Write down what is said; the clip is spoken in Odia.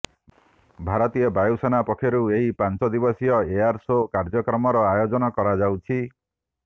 ଭାରତୀୟ ବାୟୁସେନା ପକ୍ଷରୁ ଏହି ପାଂଚଦିବସୀୟ ଏୟାର ସୋ କାର୍ଯ୍ୟକ୍ରମର ଆୟୋଜନ କରାଯାଉଛି